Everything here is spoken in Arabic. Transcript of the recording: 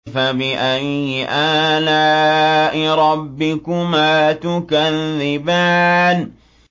فَبِأَيِّ آلَاءِ رَبِّكُمَا تُكَذِّبَانِ